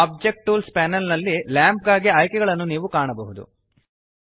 object tools panel ನಲ್ಲಿ lamp ಗಾಗಿ ಆಯ್ಕೆಗಳನ್ನು ನೀವು ಕಾಣಬಹುದು